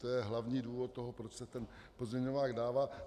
To je hlavní důvod toho, proč se ten pozměňovák dává.